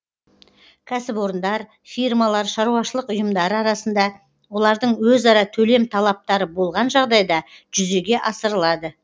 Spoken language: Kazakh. кәсіпорындар фирмалар шаруашылық ұйымдары арасында олардың өзара төлем талаптары болған жағдайда жүзеге асырылады